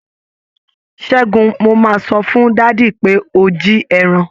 Ṣẹ́gun, mo máa sọ fún dádì pé o jí ẹran.